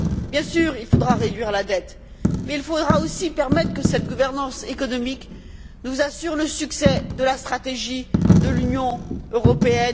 Bien sûr, il faudra réduire la dette, mais il faudra aussi permettre que cette gouvernance économique nous assure le succès de la stratégie Europe